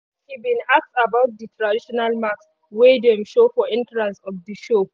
she bin ask about di traditional mask wey dem show for entrance of the show.